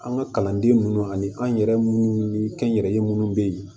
An ka kalanden munnu ani an yɛrɛ munnu ni kɛnyɛrɛye munnu bɛ ye